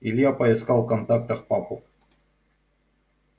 илья поискал в контактах папу